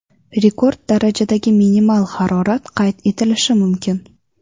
Rekord darajadagi minimal harorat qayd etilishi mumkin.